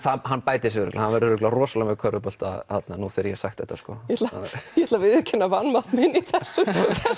hann bætir sig örugglega hann verður örugglega rosalegur með körfubolta nú þegar ég hef sagt þetta sko ég ætla að viðurkenna vanmátt minn í þessu